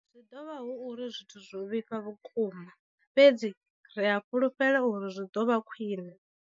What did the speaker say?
Zwi ḓo vha hu uri zwithu zwo vhifha vhukuma, fhedzi ri a fhulufhela uri zwi ḓo vha khwiṋe.